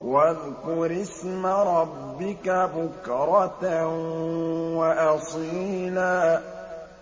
وَاذْكُرِ اسْمَ رَبِّكَ بُكْرَةً وَأَصِيلًا